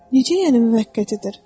Necə yəni müvəqqətidir?